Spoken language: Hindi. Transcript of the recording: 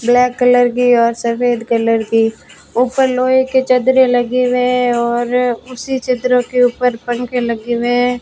ब्लैक कलर की और सफेद कलर की ऊपर लोहे के चद्दरें लगे हुए और उसी चद्दरों के ऊपर पंख लगे हुए हैं।